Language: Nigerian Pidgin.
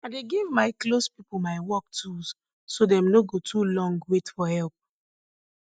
i dey give my close pipo my work tools so dem no go too long wait for help